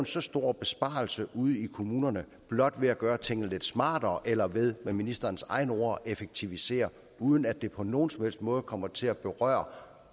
så stor besparelse ude i kommunerne blot ved at gøre tingene lidt smartere eller ved med ministerens egne ord at effektivisere uden at det på nogen som helst måde kommer til at berøre